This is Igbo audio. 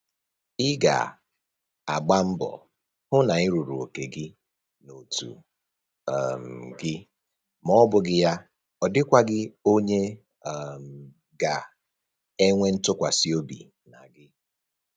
Ị ga-agba mbọ hụ na Ị rụrụ oke gị n'otu um gị ma ọbụghị ya ọdịkwaghị onye um ga-enwe ntụkwasị obi na gị